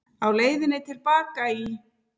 Á leiðinni til baka í